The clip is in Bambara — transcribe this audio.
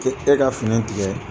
e ka fini tigɛ.